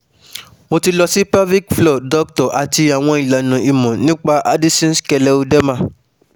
Mo ti lọ sí pelvic floor Doctor àti àwọn ìlànà ìmọ̀ nípa Addison's scleroderma